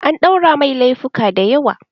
An ɗaura mai lefuka da yawa